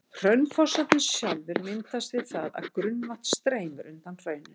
Hraunfossarnir sjálfir myndast við það að grunnvatn streymir undan hrauninu.